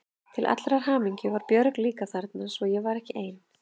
Til allrar hamingju var Björg líka þarna svo ég var ekki ein.